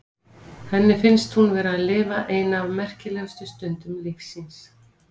Henni finnst hún vera að lifa eina af merkilegustu stundum lífs síns.